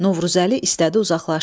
Novruzəli istədi uzaqlaşsın.